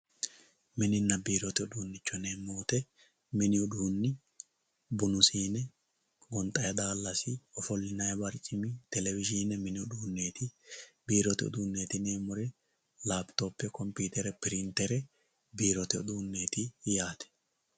mininna biirote uduunnichooti yineemmo woyiite mini uduunni bunu siine gonxayii daallasi ofollinayii barcimi telewizhiine mini uduunneeti biiro uduunneeti yineemmori laapitope kompiitere pirintere biirote uduunneeti yaate